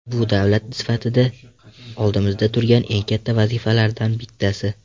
Bu davlat sifatida oldimizda turgan eng katta vazifalardan bittasi.